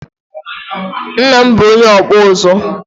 Nna m bụ onye ọkpụ nzu